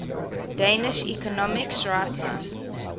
danish economics writers